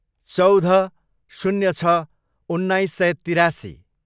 चौध, शून्य छ, उन्नाइस सय तिरासी